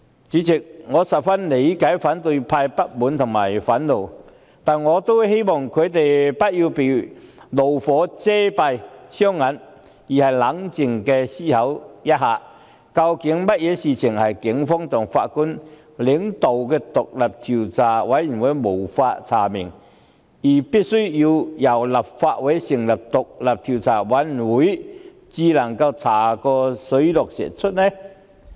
主席，我十分理解反對派的不滿及憤怒，但我希望他們不要被怒火遮蔽雙眼，而應冷靜思考一下，究竟有甚麼事情是警方及前法官領導的調查委員會也無法查明，而必須由立法會成立的專責委員會才能查個水落石出的？